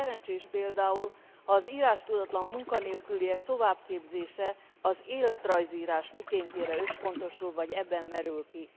Nem szerencsés például, ha az írástudatlan munkanélküliek továbbképzése az életrajzírás mikéntjére összpontosul, vagy ebben merül ki.